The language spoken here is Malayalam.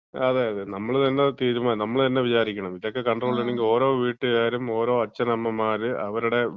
അതെ, അതെ.നമ്മള് തന്നെ തീരുമാനം. നമ്മള് തന്നെ വിചാരിക്കണം അത്. ഇതൊക്കെ കൺട്രോൾ ചെയ്യണമെങ്കിൽ ഓരോ വീട്ടുകാരും, ഓരോ അച്ഛനമ്മമാര് അവരുടെ